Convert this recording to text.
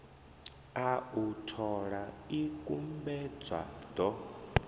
a u thola ikumbedzwa ḓo